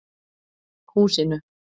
Húsinu